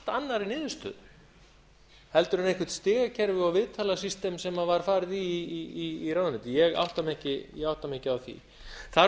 annarri niðurstöðu en eitthvert stigakerfi og viðtalasystem sem var farið í í ráðuneytinu ég átta mig ekki á því þarf